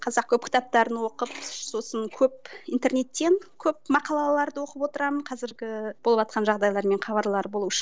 қазақ көп кітаптарын оқып сосын көп интернеттен көп мақалаларды оқып отырамын қазіргі болыватқан жағдайлармен хабарлар болу үшін